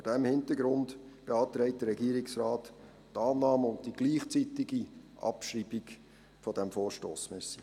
Vor diesem Hintergrund beantragt der Regierungsrat die Annahme und gleichzeitige Abschreibung dieses Vorstosses.